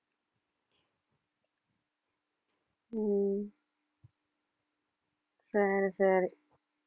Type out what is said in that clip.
உம் சரி சரி